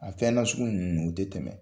A fɛn nasugu ninnu o tɛ tɛmɛ